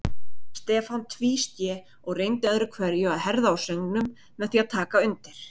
Stefán tvísté og reyndi öðru hverju að herða á söngnum með því að taka undir.